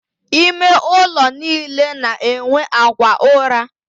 Ime ụlọ niile na-enwe akwa ụra.